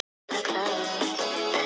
Þetta er furðulegt, hugsaði hann.